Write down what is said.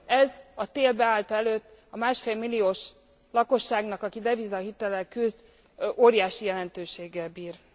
Ez a tél beállta előtt a másfél milliós lakosságnak, aki devizahitellel küzd óriási jelentőséggel bír.